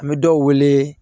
An bɛ dɔw wele